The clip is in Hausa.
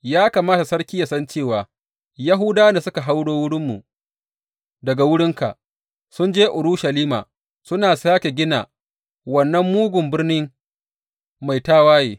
Ya kamata sarki ya san cewa Yahudawan da suka hauro wurinmu daga wurinka, sun je Urushalima suna sāke gina wannan mugun birni mai tawaye.